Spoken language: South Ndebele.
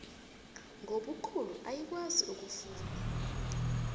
ngobukhulu ayikwazi ukufuna